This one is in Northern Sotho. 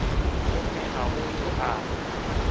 gomme ga go yo a